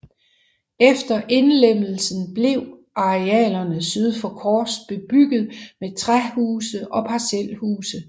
Efter indlemmelsen blev arealer syd for Kors bebygget med rækkehuse og parcelhuse